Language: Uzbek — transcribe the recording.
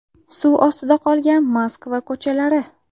Suv ostida qolgan Moskva ko‘chalari .